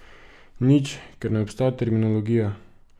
Nič, ker ne obstaja terminologija.